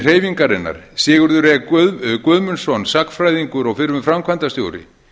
hreyfingarinnar sigurður e guðmundsson sagnfræðingur og fyrrum framkvæmdastjóri